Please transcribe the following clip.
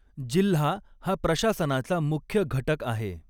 जिल्हा हा प्रशासनाचा मुख्य घटक आहे.